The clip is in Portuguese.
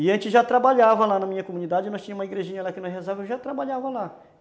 E a gente já trabalhava lá na minha comunidade, nós tínhamos uma igrejinha lá que nós rezávamos, e eu já trabalhava lá.